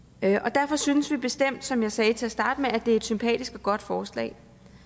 derfor synes vi bestemt som jeg sagde til at starte med at det er et sympatisk og godt forslag